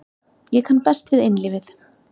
Ég kann best við einlífið.